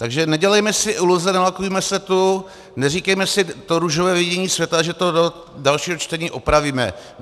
Takže nedělejme si iluze, nelakujme se tu, neříkejme si to růžové vidění světa, že to do dalšího čtení opravíme.